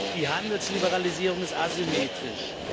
Die Handelsliberalisierung ist asymmetrisch.